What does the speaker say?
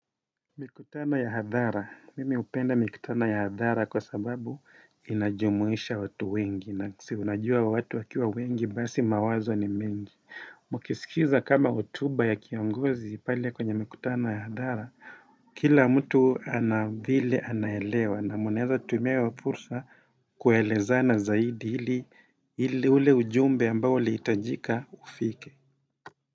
Mikutano ya hadhara. Mimi hupenda mikutano ya hadhara kwa sababu inajumuisha watu wengi na siunajua watu wakiwa wengi basi mawazo ni mengi mkisikiza kama hotuba ya kiongozi pale kwenye mikutano ya hadhara kila mtu anavile anaelewa na mnaweza tumia hiyo fursa kuelezana zaidi ili ule ujumbe ambao ulihitajika, ufike.